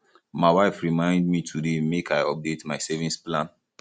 my wife remind me today make i update my savings plan